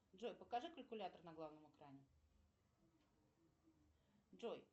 джой покажи калькулятор на главном экране джой